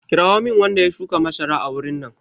Kirawo min wanda ya shuka masara a wurin nan!